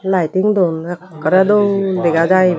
laiting dun ekkore dol dega jay iban.